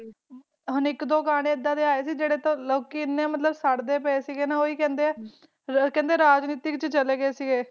ਇਕ ਦੋ ਗਾਣੇ ਇਹ ਡੇ ਆਯਾ ਸੀ ਕਿ ਲੋਕੀ ਸਰਨ ਲੱਗ ਪਾਈ ਸੀ ਨਾ ਕਿ ਲੋਕੀ ਬੋਲਦੇ ਕਿ ਰਾਜਨਿਤੀ ਵਿਚ ਚਲੇ ਗੇ ਸੀ